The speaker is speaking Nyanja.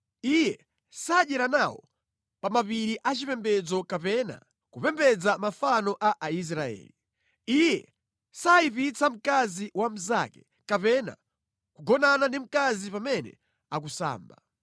Iye sadyera nawo pa mapiri a chipembedzo kapena kupembedza mafano a Aisraeli. Iye sayipitsa mkazi wa mnzake kapena kugonana ndi mkazi pamene akusamba.